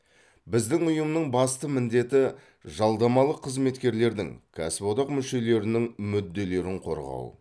біздің ұйымның басты міндеті жалдамалы қызметкерлердің кәсіподақ мүшелерінің мүдделерін қорғау